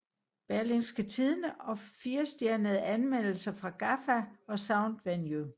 Berlingske Tidende og 4 stjernede anmeldelser fra Gaffa og Soundvenue